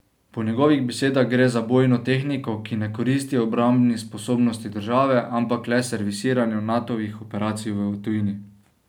Po njegovih besedah gre za bojno tehniko, ki ne koristi obrambni sposobnosti države, ampak le servisiranju Natovih operacij v tujini.